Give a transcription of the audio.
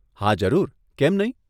હા, જરૂર, કેમ નહીં?